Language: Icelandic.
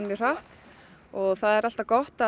mjög hratt og það er alltaf gott